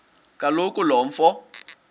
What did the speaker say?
kaloku lo mfo